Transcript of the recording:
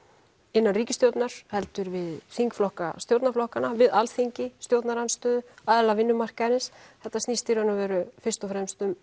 innan ríkisstjórnar heldur við þingflokka stjórnarflokkana Alþingi stjórnarandstöðu aðila vinnumarkaðarins þetta snýst í raun og veru fyrst og fremst um